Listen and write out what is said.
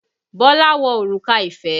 Bọ́lá wọ òrùka ìfẹ́